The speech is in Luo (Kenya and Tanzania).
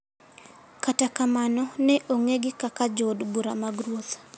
kata kamano ne ong'egi kaka jood bura mag ruoth.